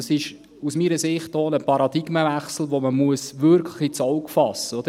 Aus meiner Sicht ist dies auch ein Paradigmenwechsel, den man wirklich ins Auge fassen muss.